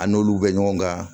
An n'olu bɛ ɲɔgɔn kan